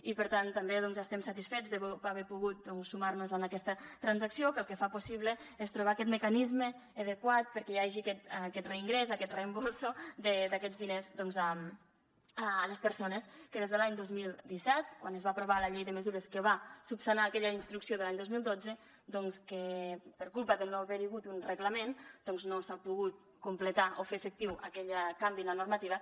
i per tant també estem satisfets d’haver pogut sumar nos a aquesta transacció que el que fa possible és trobar aquest mecanisme adequat perquè hi hagi aquest reingrés aquest reemborsament d’aquests diners a les persones que des de l’any dos mil disset quan es va aprovar la llei de mesures que va esmenar aquella instrucció de l’any dos mil dotze que per culpa de no haver hi hagut un reglament no s’ha pogut completar o fer efectiu aquell canvi en la normativa